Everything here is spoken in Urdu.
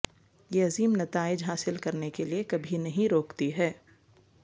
یہ عظیم نتائج حاصل کرنے کے لئے کبھی نہیں روکتی ہے